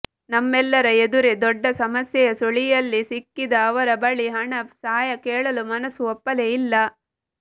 ನಮ್ಮೆಲ್ಲರ ಎದುರೇ ದೊಡ್ಡ ಸಮಸ್ಯೆಯ ಸುಳಿಯಲ್ಲಿ ಸಿಕ್ಕಿದ್ದ ಅವರ ಬಳಿ ಹಣ ಸಹಾಯ ಕೇಳಲು ಮನಸ್ಸು ಒಪ್ಪಲೇ ಇಲ್ಲ